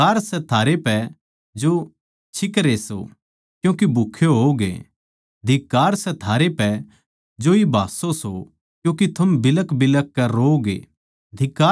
धिक्कार सै थारै पै जो छिकरे सो क्यूँके भूक्खे होओगे धिक्कार सै थारै पै जो इब हाँस्सो सो क्यूँके थम बिलखबिलख कै रोओगे